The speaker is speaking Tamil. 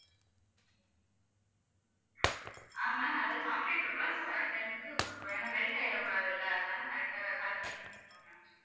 ஆஹ் ma'am, அது chocolate இருக்கும்ல so correct time க்கு கொடுக்கிறோம். ஏன்னா melt ஆயிரக்கூடாதுல்ல அதனால correct ஆ correct time கொடுத்திருவோம் ma'am